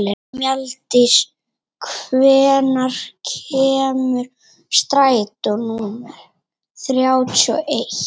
Mjalldís, hvenær kemur strætó númer þrjátíu og eitt?